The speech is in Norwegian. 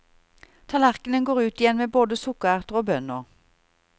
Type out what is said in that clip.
Tallerkenen går ut igjen med både sukkererter og bønner.